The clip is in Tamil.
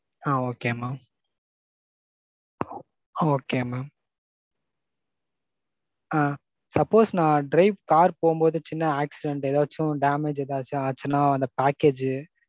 ஆ Okay mam. Okay mam. ஆ suppose நான் drive car போம்போது சின்ன accident ஏதாச்சும் damage ஏதாச்சும் ஆச்சுன்னா அந்த package